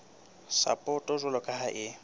sapoto jwalo ka ha e